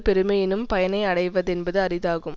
பெருமை எனும் பயனை அடைவதென்பது அரிதாகும்